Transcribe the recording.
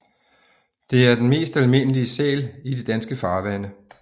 Det er den mest almindelige sæl i de danske farvande